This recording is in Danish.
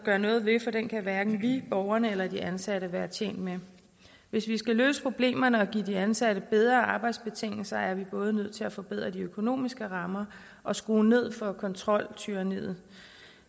gøre noget ved for den kan hverken vi borgerne eller de ansatte være tjent med hvis vi skal løse problemerne og give de ansatte bedre arbejdsbetingelser er vi både nødt til at forbedre de økonomiske rammer og skrue ned for kontroltyranniet